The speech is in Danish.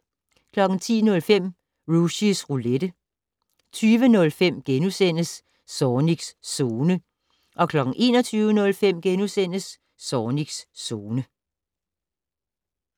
10:05: Rushys Roulette 20:05: Zornigs Zone * 21:05: Zornigs Zone *